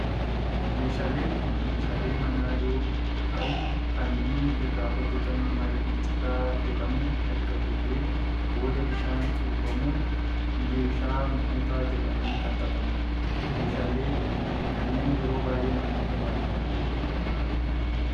Meeshaaleen kun meeshaalee manaa yoo ta'u kan inni irraa hojjetamu margi citaa jedhamu erga gogeen booda bishaan cuubamun meeshaa mutaa jedhamun kan xaxamudha. Meeshaalee kannneen yeroo baayyee namoota baadiyaatu itti fayyadama.